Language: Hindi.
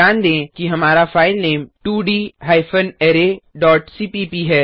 ध्यान दें कि हमारा filename two D hyphen array dot cpp है